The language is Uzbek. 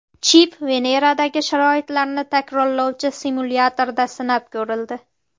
Chip Veneradagi sharoitlarni takrorlovchi simulyatorda sinab ko‘rildi.